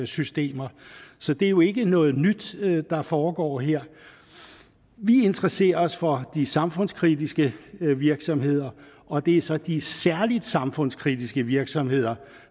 systemer så det er jo ikke noget nyt der foregår her vi interesserer os for de samfundskritiske virksomheder og det er så de særlig samfundskritiske virksomheder